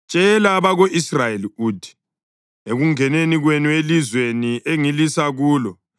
“Tshela abako-Israyeli uthi: ‘Ekungeneni kwenu elizweni engilisa kulo